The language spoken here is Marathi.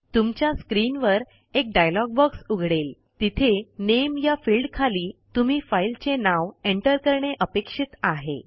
तुमच्या स्क्रीनवर एक डायलॉग बॉक्स उघडेल तिथे नामे या फिल्डखाली तुम्ही फाईलचे नाव एंटर करणे अपेक्षित आहे